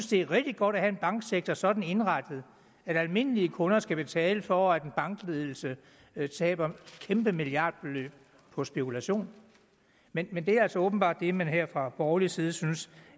det er rigtig godt at have en banksektor sådan indrettet at almindelige kunder skal betale for at en bankledelse taber kæmpe milliardbeløb på spekulation men men det er altså åbenbart det man her fra borgerlig side synes